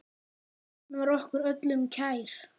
Hann var okkur öllum kær.